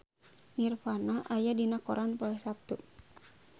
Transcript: Nirvana aya dina koran poe Saptu